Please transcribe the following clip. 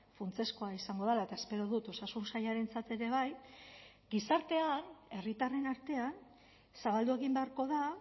funtsezkoa izango dela eta espero dut osasun sailarentzat ere bai gizartean herritarren artean zabaldu egin beharko da